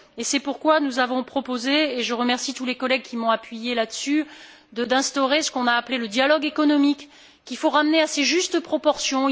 C'est pourquoi nous avons proposé et je remercie tous les collègues qui m'ont soutenue là dessus d'instaurer ce que l'on appelle le dialogue économique, qu'il faut ramener à ses justes proportions.